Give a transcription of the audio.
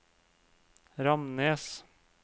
Ramnes